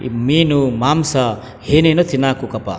ಈ ಮೀನು ಮಾಂಸ ಹೇನೇನು ತಿನ್ಕ ಹೊಕಪಾ .